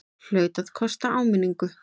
Hlaut að kosta áminningu!